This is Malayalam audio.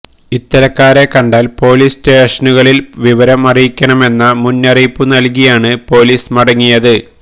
ഇത്തരക്കാരെ കണ്ടാൽ പോലീസ് സ്റ്റേഷനുകളിൽ വിവരം അറിയിക്കണമെന്ന മുന്നറിയിപ്പുനൽകിയാണ് പൊലീസ് മടങ്ങിയത്